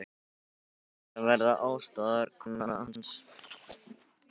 Ég átti að vera aðstoðarkona hans.